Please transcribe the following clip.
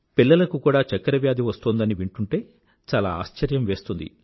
పిలల్లకు కూడా డయాబెటిస్ వస్తోందని వింటూంటే చాలా ఆశ్చర్యం వేస్తుంది